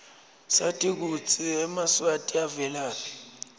sati kutsi emaswati avelaphi